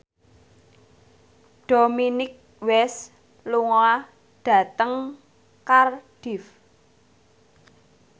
Dominic West lunga dhateng Cardiff